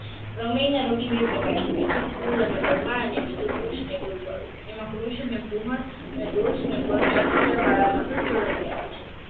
રોગી બે પ્રકારના પડે છે ફૂલ અને બળવાન અને બીજું ખુશ અને દુર્ગવી તેમજ કૃષ અને દોષ અને બળની અધિકતમ વાડામાં સંશોધન કરાયું છે